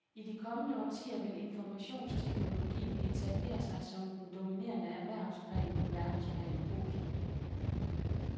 I de kommende årtier vil informationsteknologien etablere sig som den dominerende erhvervsgren på verdensplan. punktum